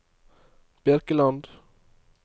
Birkeland